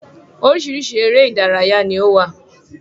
Oríṣiríṣi eré ìdárayá ni ó wà.